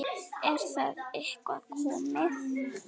Er það eitthvað komið?